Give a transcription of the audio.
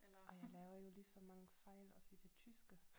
Og jeg laver jo lige så mange fejl også i det tyske